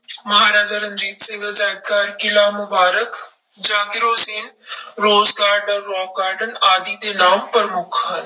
ਮਹਾਰਾਜਾ ਰਣਜੀਤ ਸਿੰਘ ਅਜ਼ਾਇਬ ਘਰ, Qila Mubarak, Zakir Hussain rose garden, rock garden ਆਦਿ ਦੇ ਨਾਮ ਪ੍ਰਮੁੱਖ ਹਨ।